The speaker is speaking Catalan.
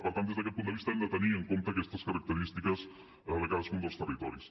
per tant des d’aquest punt de vista hem de tenir en compte aquestes característiques de cadascun dels territoris